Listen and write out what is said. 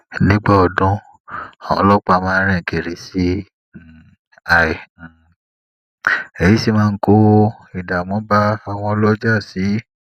nígbà odun àwọn ọlópàá máa rin kiri sii um i um èyí sì máa ń kó ìdààmú ba awon oloja sii